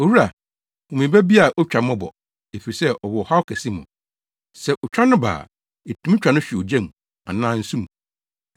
“Owura, hu me ba bi a otwa mmɔbɔ, efisɛ ɔwɔ ɔhaw kɛse mu. Sɛ otwa no ba a, etumi twa no hwe ogya anaa nsu mu.